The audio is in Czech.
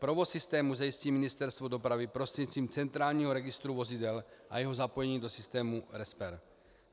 Provoz systému zajistí Ministerstvo dopravy prostřednictvím centrálního registru vozidel a jeho zapojení do systému RESPER.